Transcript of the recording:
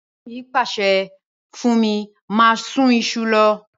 Ègbọ́n mi pàsẹ fún mí máa sun isu lo